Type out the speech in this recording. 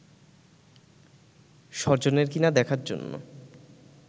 স্বজনের কিনা দেখার জন্য